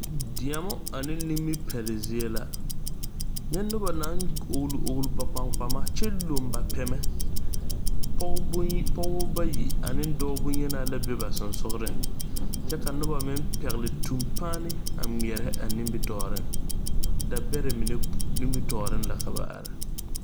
Deɛmo ane nimipeɛl zie la nyɛ nobɔ naŋ ogle ogle ba kpaŋkpama kyɛ loŋ ba pɛmɛ pɔgebɔ bayi ane dɔɔ bonyenaa la be ba seŋsugliŋ kyɛ ka nobɔ meŋ pegle tuŋpaane a ngmɛɛrɛ a nimitooreŋ da bɛrɛ mine nimitooreŋ la ka ba are.